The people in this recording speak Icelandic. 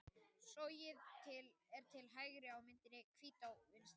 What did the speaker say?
Sogið er til hægri á myndinni og Hvítá vinstra megin.